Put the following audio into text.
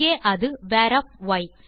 இங்கே அது varய் 2